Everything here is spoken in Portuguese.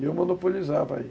E eu monopolizava aí.